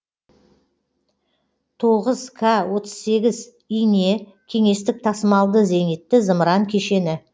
тоғыз к отыз сегіз ине кеңестік тасымалды зенитті зымыран кешені